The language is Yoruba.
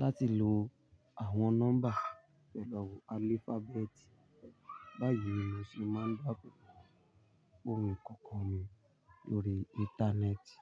láti lo àwọn nọ́mbà pẹ̀lú alphabet. Báyìí ni mo sì máa ń dáàbò bo ohun kọ̀ọ̀kan mi lórí Íńtánẹ́ẹ̀tì.